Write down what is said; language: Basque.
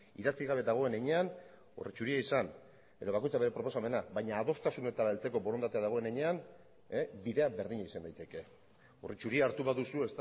idatzi gabe dagoen heinean orri zuria izan edo bakoitzak bere proposamena baina adostasunetara heltzeko borondatea dagoen heinean bidean berdina izan daiteke orri zuri hartu baduzu